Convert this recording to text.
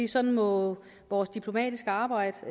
sådan må vores diplomatiske arbejde